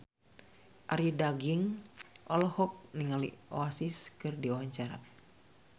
Arie Daginks olohok ningali Oasis keur diwawancara